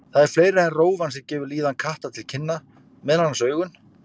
Það er fleira en rófan sem gefur líðan katta til kynna, meðal annars augun.